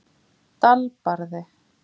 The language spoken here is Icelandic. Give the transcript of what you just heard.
Dalbarði